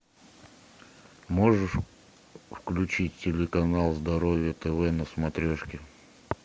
можешь включить телеканал здоровье тв на смотрешке